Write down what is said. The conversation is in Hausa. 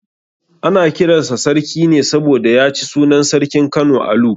Ana kiran sa Sarki ne saboda ya ci sunan sarkin Kano Alu.